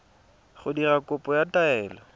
go dira kopo ya taelo